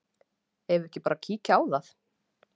Eigum við ekki bara að kíkja á það?